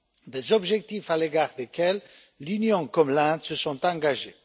Des objectifs à l'égard desquels l'Union comme l'Inde se sont engagées.